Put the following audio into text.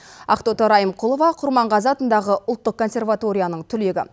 ақтоты райымқұлова құрманғазы атындағы ұлттық консерваторияның түлегі